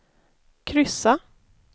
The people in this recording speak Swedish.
kryssa